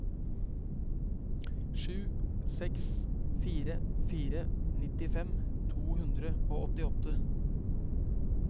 sju seks fire fire nittifem to hundre og åttito